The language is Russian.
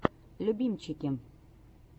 любимчики